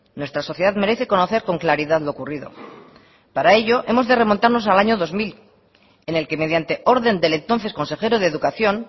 nuestra sociedad merece conocer con claridad lo ocurrido para ello hemos de remontarnos al año dos mil en el que mediante orden del entonces consejero de educación